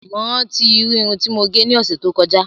Mo rántí Irun ti mo gẹ̀ ní ọsẹ ti o kọjá